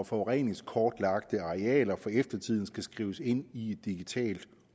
forureningskortlagte arealer for eftertiden skal skrives ind i et digitalt